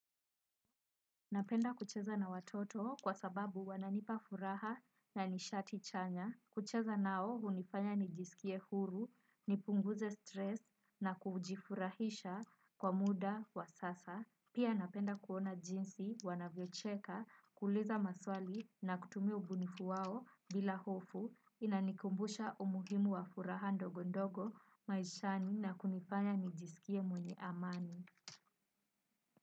Napenda kucheza na watoto kwa sababu wananipa furaha na nishati chanya. Kucheza nao hunifanya nijiskie huru, nipunguze stress na kujifurahisha kwa muda wa sasa. Pia napenda kuona jinsi wanavyocheka, kuuliza maswali na kutumia ubunifu wao bila hofu. Inanikumbusha umuhimu wa furaha ndogondogo maishani na kunifanya nijiskie mwenye amani.